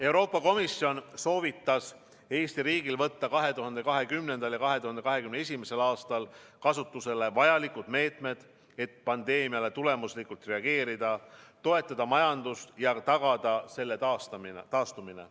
Euroopa Komisjon soovitas Eesti riigil võtta 2020. ja 2021. aastal kasutusele vajalikud meetmed, et pandeemiale tulemuslikult reageerida, toetada majandust ja tagada selle taastumine.